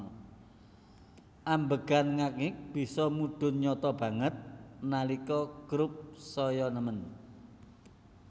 Ambegan ngak ngik bisa mudhun nyata banget nalika Croup saya nemen